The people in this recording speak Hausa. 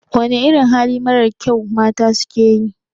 Wana irin hali marar kyau mata suke yi?